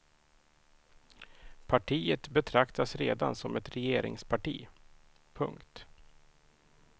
Partiet betraktas redan som ett regeringsparti. punkt